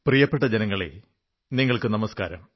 പ്രിയപ്പെട്ട ജനങ്ങളേ നിങ്ങൾക്കു നമസ്കാരം